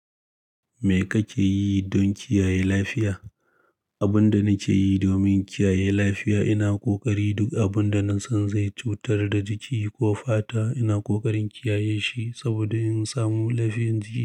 Me kake yi don kiyaye lafiya? Abinda nake yi domin kiyaye lafiya, ina ƙoƙari duk abin da na san zai cutar da jiki ko fata, ina ƙoƙarin kiyaye shi saboda in samu lafiyanci.